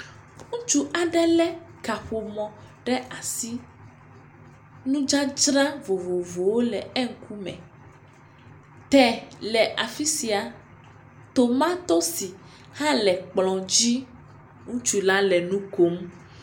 Ŋutsu aɖe le kaƒomɔ ɖe asi. Nudzadzra vovovowo le eŋkume. Te le afisia, tomatosi hã le ekplɔ dzi. Ŋutsu la le nukom.